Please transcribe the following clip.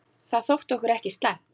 Það þótti okkur ekki slæmt.